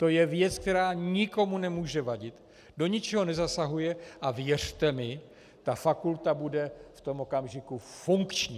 To je věc, která nikomu nemůže vadit, do ničeho nezasahuje, a věřte mi, tak fakulta bude v tom okamžiku funkční.